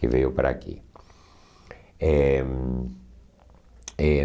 Que veio para aqui. Eh eh